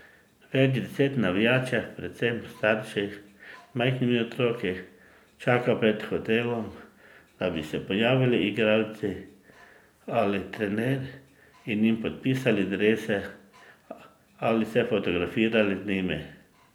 Več deset navijačev, predvsem starši z majhnimi otroki, čaka pred hotelom, da bi se pojavili igralci ali trener in jim podpisali drese ali se fotografirali z njimi.